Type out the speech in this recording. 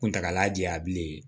Kuntagala janya bilen